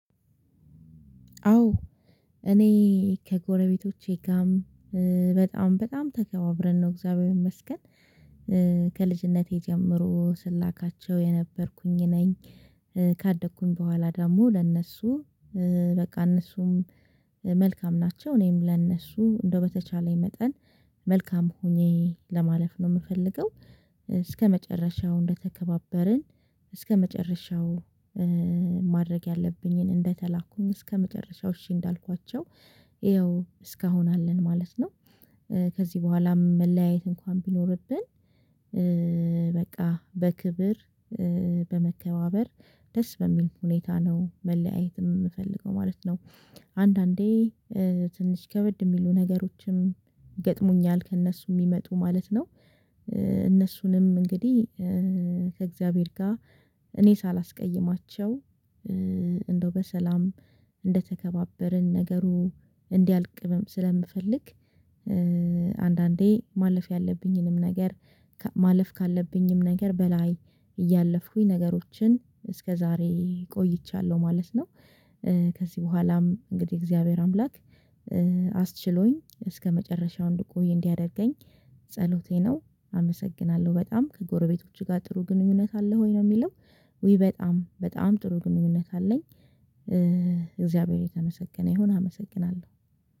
አዎ እኔ ከጎረቤቶቼ ጋርም በጣም በጣም ተከባብረን ነው እግዚአብሔር ይመስገን። ከልጅነቴ ጀምሮ ስላካቸው የነበርኩኝ ነኝ። ካደኩኝ በኋላ ደግሞ ለእነሱ በቃ እነሱም መልካም ናቸው እኔም ለእነሱ እንደው በተቻለኝ መጠን መልካም ሆኜ ለማለፍ ነው የምፈልገው። እስከመጨረሻው እንደተከባበርን እስከመጨረሻው ማድረግ ያለብኝን እንደተላኩኝ እስከመጨረሻው እሺ እንዳልኳቸው ይኸው እስካሁን አለን ማለት ነው። ከዚህ በኋላም መለያየት እንኳን ቢኖርብን። በቃ በክብር በመከባበር ደስ በሚል ሁኔታ ነው መለያየትም የምፈልገው ማለት ነው። አንዳንዴ ትንሽ ከበድ የሚሉ ነገሮችም ይገጥሙኛል ከእነሱ የሚመጡ ማለት ነው። እነሱንም እንግዲህ ከእግዚአብሔር ጋር እኔ ሳላስቀይማቸው እንደው በሰላም እንደተከባበርን ነገሩ እንዲያልቅም ስለምፈልግ። አንዳንዴ ማለፍ ያለብኝንም ነገር ማለፍ ካለብኝም ነገር በላይ እያለፍኩኝ ነገሮችን እስከዛሬ ቆይቻለሁ ማለት ነው። ከዚህ በኋላም እንግዲህ እግዚአብሔር አምላክ አስችሎኝ እስከመጨረሻው እንድቆይ እንዲያደርገኝ ጸሎቴ ነው። አመሰግናለሁ በጣም ከጎረቤቶቹ ጋር ጥሩ ግንኙነት አለህ ወይ ነው የሚለው? ውይ በጣም በጣም ጥሩ ግንኙነት አለኝ። እግዚአብሔር የተመሰገነ ይሁን አመሰግናለሁ